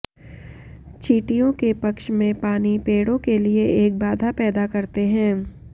चींटियों के पक्ष में पानी पेड़ों के लिए एक बाधा पैदा करते हैं